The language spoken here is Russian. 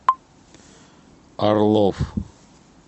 орлов